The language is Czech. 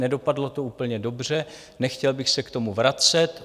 Nedopadlo to úplně dobře, nechtěl bych se k tomu vracet.